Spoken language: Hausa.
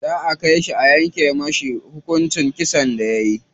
Za su kai shi a yanke masa hukuncin kisan da yayi.